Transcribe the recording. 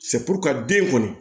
ka den kɔni